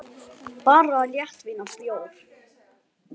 Bara léttvín og bjór.